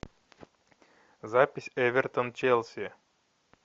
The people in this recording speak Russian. запись эвертон челси